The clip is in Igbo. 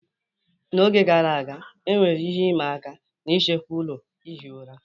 N'oge gara aga, enwere ihe ịma aka n'ichekwa ụlọ ihi ụra.